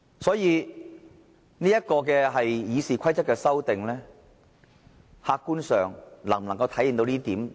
所以，這項《議事規則》的修訂，客觀上能否體現到公平呢？